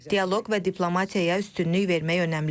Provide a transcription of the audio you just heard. Dialoq və diplomatiyaya üstünlük vermək önəmlidir.